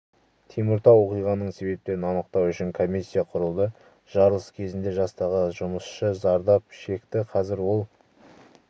теміртау оқиғаның себептерін анықтау үшін комиссия құрылды жарылыс кезінде жастағы жұмысшы зардап шекті қазір ол